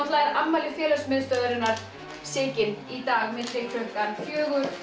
er afmæli félags miðstöðvarinnar Sigyn í dag milli klukkan fjögur